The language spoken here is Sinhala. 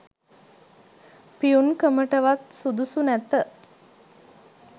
පියුන් කමටවත් සුදුසු නැත